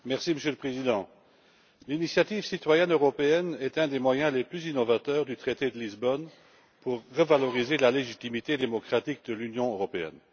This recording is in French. Monsieur le Président, l'initiative citoyenne européenne est un des moyens les plus innovateurs du traité de Lisbonne pour revaloriser la légitimité démocratique de l'Union européenne.